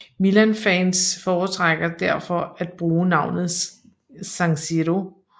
Milanfans foretrækker derfor at bruge navnet San Siro